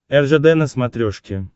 ржд на смотрешке